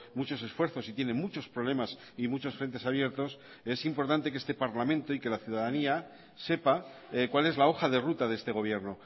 muchos esfuerzos y tiene muchos problemas y muchos frentes abiertos es importante que este parlamento y que la ciudadanía sepa cuál es la hoja de ruta de este gobierno